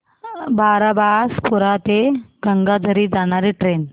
बारबासपुरा ते गंगाझरी जाणारी ट्रेन